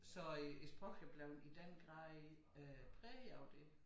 Så øh æ sproch er blevet i den grad øh præget af det